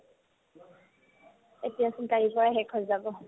এতিয়াচোন কালিৰ পৰা সেইখন যাব